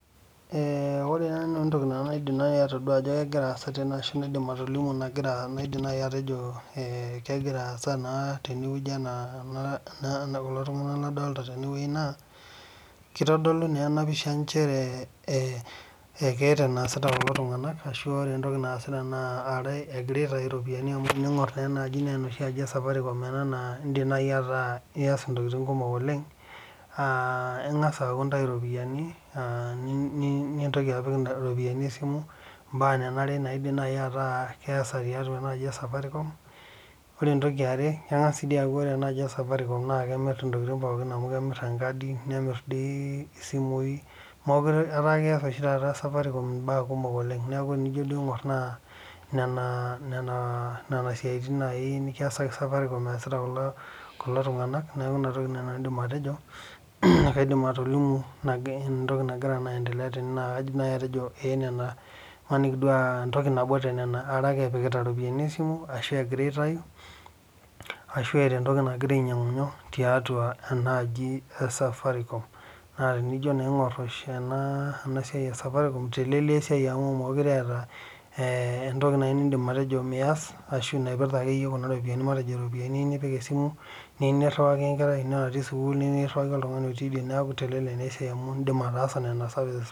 Ore nai entoki naidim nanu atoduo ajo kegira aasa tene ashu naidip atolimu ajo kegira aasa tene na naidim nai atejo kegira aasa tenewueji ana kulo tunganak ladolta tene na kitodolu na enapisha leta enesati kulo tunganak amu egira aitau ropiyani enoshi aji esafaricom ena na indim nai ataa ias ntokitin kumok oleng aa ingasa aaku indau iropiyiani nintoki apik iropiyiani esimu mbaa nanare naidim nai ataa keesa tenaaji esafaricom ore entoki eeare kengas aaku ore enaaji esafaricom na kimir ntokitin kumok amu kemir enkadi nemir isimui ataa keeta Safaricom mbaa kumok oleng neaku enijo duo aingor na nona siatin nikiasaki Safaricom easita kulo tunganak neaku inatoki naidim atejo na kaidim atolimu entoki nagira anedelea imanimi aa entoki nabo tonena imaniki aa kepikita iropiyiani esimu ashu egira aitau ashu eeta entoki nagira ainyangu tiatua enaaji asafaricom na enijo aingur enasiai esafaricom itelelia esai amu mekute eeta entoki nai nindim atejo mias napirta ake yie ropiyani neaku itelelek na esiai amu Indim ataasa nona services pooki